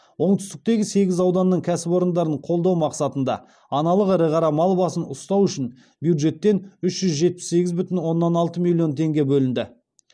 оңтүстіктегі сегіз ауданның кәсіпорындарын қолдау мақсатында аналық ірі қара мал басын ұстау үшін бюджеттен үш жүз жетпіс сегіз бүтін оннан алты миллион теңге бөлінді